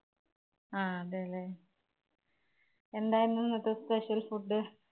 ആ, അതെ, അല്ലേ എന്തായിരുന്നു ഇന്നത്തെ special food?